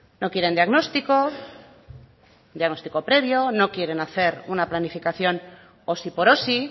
no quieren diagnóstico diagnóstico previo no quieren hacer una planificación osi por osi